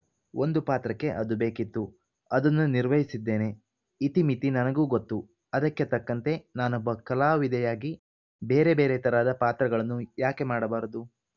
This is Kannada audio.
ಒಂದು ಪಾತ್ರಕ್ಕೆ ಅದು ಬೇಕಿತ್ತು ಅದನ್ನು ನಿರ್ವಹಿಸಿದ್ದೇನೆ ಇತಿಮಿತಿ ನನಗೂ ಗೊತ್ತು ಅದಕ್ಕೆ ತಕ್ಕಂತೆ ನಾನೊಬ್ಬ ಕಲಾವಿದೆಯಾಗಿ ಬೇರೆ ಬೇರೆ ಥರದ ಪಾತ್ರಗಳನ್ನು ಯಾಕೆ ಮಾಡಬಾರದು